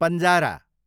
पन्जारा